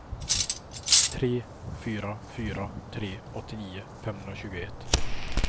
tre fyra fyra tre åttionio femhundratjugoett